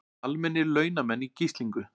Almennir launamenn í gíslingu